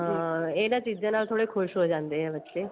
ਹਾਂ ਇਹਨਾ ਚੀਜ਼ਾਂ ਨਾਲ ਥੋੜੇ ਖੁਸ਼ ਹੋ ਜਾਂਦੇ ਏ ਬੱਚੇ